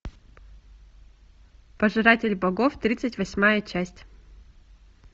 пожиратель богов тридцать восьмая часть